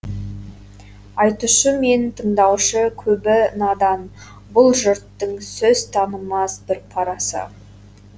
айтушы мен тыңдаушы көбі надан бұл жұрттың сөз танымас бір парасы